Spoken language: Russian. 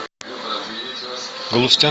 галустян